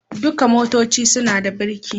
Dukan motoci suna da biriki.